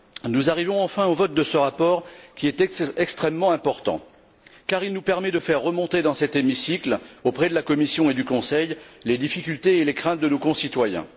Nous arrivons, enfin, au vote de ce rapport qui est extrêmement important car il nous permet de faire remonter dans cet hémicycle, auprès de la Commission et du Conseil, les difficultés et les craintes de nos concitoyens.